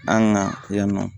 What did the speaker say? An ka yan nɔ